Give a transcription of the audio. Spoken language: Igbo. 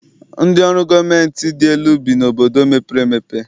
Ndị ọrụ gọọmentị dị elu bi n'obodo mepere emepe.